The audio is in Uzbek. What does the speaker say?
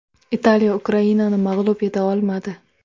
Italiya Ukrainani mag‘lub eta olmadi.